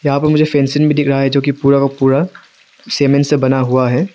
यहां पर मुझे फेंसीन भी दिखे रहा है जो की पूरा का पूरा सीमेंट से बना हुआ है।